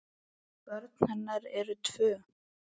Börn hennar eru tvö.